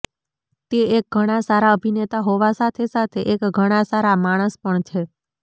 તે એક ઘણા સારા અભિનેતા હોવા સાથે સાથે એક ઘણા સારા માણસ પણ છે